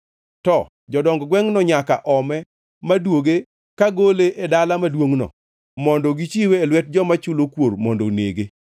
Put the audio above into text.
to jodong gwengʼno nyaka ome maduoge ka gole e dala maduongʼno mondo gichiwe e lwet joma chulo kuor mondo onege.